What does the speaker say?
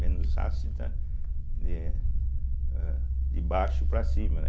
Menos ácida de é de baixo para cima, né.